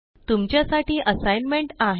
तुमच्या साठी असाइनमेंट आहे